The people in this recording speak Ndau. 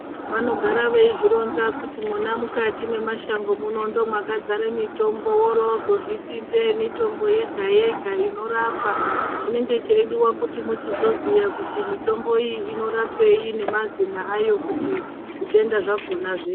Vanogara veyizvironza kuti mwona mukati mwemashango ndimwo mwakazare mitombo wore uno wozviti ndeemitombo yega yega inorapa chinenge cheyida kuchizoziva kuti mitombo iyi inorapei nemazine ayo kuti zvitenda zvakona zvipere.